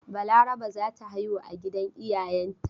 Balaraba za ta haihu a gidan iayenta.